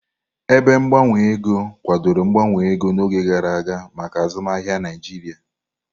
Ebe gbanwe ego kwadoro mgbanwe ego n'oge gara aga maka azụmaahịa Naijiria.